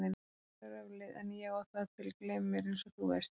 Fyrirgefðu röflið en ég á það til að gleyma mér einsog þú veist.